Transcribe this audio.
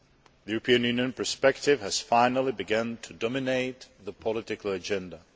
The European Union perspective has finally begun to dominate the political agenda.